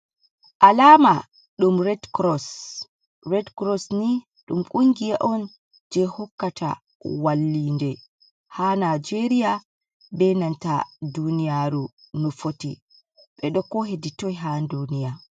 Alaama ɗum red kuroos, red kuroos ni ɗum kungiya on, jey hokkata wallinde, haa Najeeriya be nanta duuniyaaru no foti, ɓe ɗo ko hedi toy haa duuniya.